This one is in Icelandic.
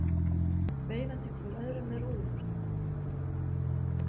Veifandi hver öðrum með rúðuþurrkum.